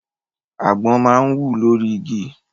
Àgbọn máa ń wù lórí igi.